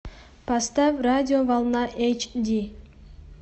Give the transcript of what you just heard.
поставь радио волна эйч ди